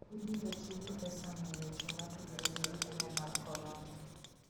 Ibiro ti gi pesano e weche motudore gi tuo mar corona.